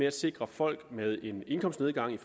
at sikre folk med en indkomstnedgang i